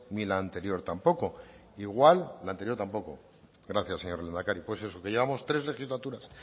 ni la anterior tampoco la anterior tampoco gracias señor lehendakari pues eso que llevamos tres legislaturas